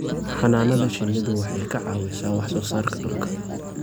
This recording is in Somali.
Xannaanada shinnidu waxay ka caawisaa wax soo saarka dhuka.